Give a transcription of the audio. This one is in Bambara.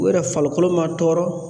U yɛrɛ falikolo ma tɔɔrɔ